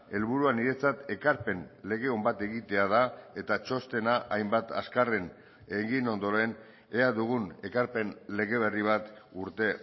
helburua niretzat ekarpen lege on bat egitea da eta txostena hainbat azkarren egin ondoren ea dugun ekarpen lege berri bat urte